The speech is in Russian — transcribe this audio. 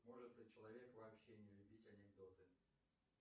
может ли человек вообще не любить анекдоты